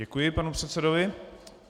Děkuji panu předsedovi.